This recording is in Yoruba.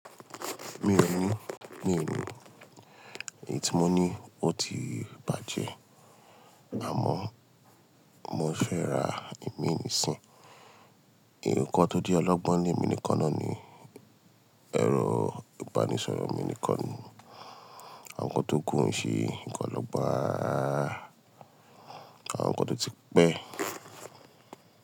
Mi ò ní, mi ò ní. Èyí tí mo ní ó ti bàjẹ́, àmọ́ mo fẹ́ ra ìmíì nisín. Nkán tó jẹ́ ọlọ́gbọ́n ní ile mi nikan náà ni ẹ̀rọ ìbánisọ̀rọ̀ míì nikan ni Àwọn kan tó kú o ń ṣe nkan ọlọ́gbọ́n rararara, àwọn kan tó ti pẹ́